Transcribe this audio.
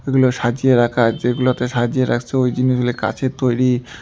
এগুলো সাজিয়ে রাখা আছে এগুলোতে সাজিয়ে রাখসে ওই জিনিসগুলা কাচের তৈরি।